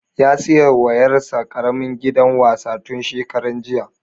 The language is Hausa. Ya saya wa ƴar sa ƙaramin gidan wasa tun shekaran jiya